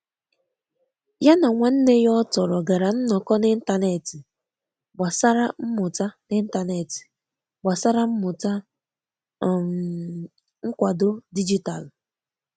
Ya na nwanne ya ọtọrọ gara nnọko n'intanetị gbasara mmuta n'intanetị gbasara mmuta um nkwado dijitalụ.